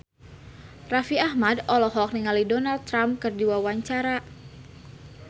Raffi Ahmad olohok ningali Donald Trump keur diwawancara